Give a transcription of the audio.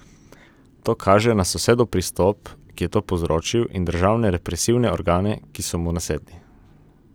To kaže na sosedov pristop, ki je to povzročil, in državne represivne organe, ki so mu nasedli.